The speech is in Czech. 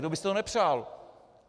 Kdo by si to nepřál?